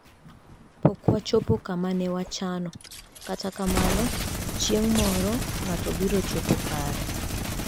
' Pok wachopo kama ne wachano. Kata kamano, chieng ' moro, ng'ato biro chopo kare. '